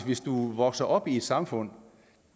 hvis du vokser op i et samfund